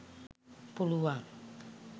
පුළුවන්.